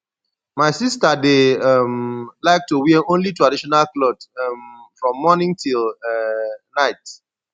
my sister dey um like to wear only traditional cloth um from morning till um night